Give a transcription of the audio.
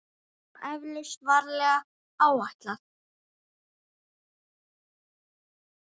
Og eflaust varlega áætlað.